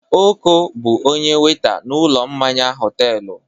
Oko bụ onye wẹ́ta n'ụlọ mmanya họtelụ.